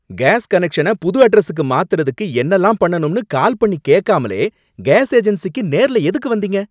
Case connection புது அட்ரஸுக்கு மாத்துறதுக்கு என்னல்லாம் பண்ணணும்னு கால் பண்ணி கேக்காமலே கேஸ் ஏஜென்ஸிக்கு நேர்ல எதுக்கு வந்தீங்க?